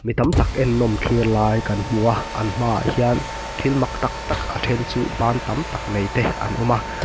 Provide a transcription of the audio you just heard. mi tam tak ennawm thlir lai kan hmu a an hmaah hian thil mak tak tak a then chu ban tam tak nei te an awm a.